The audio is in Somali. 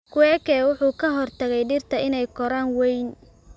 Kweke wuxuu ka hortagay dhirta inay koraan weyn